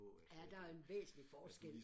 Ja der er en væsentlig forskel